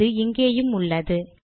அது இங்கேயும் உள்ளது